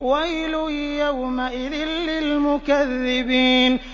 وَيْلٌ يَوْمَئِذٍ لِّلْمُكَذِّبِينَ